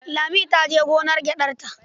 Lami ta je gonar gyaɗarta.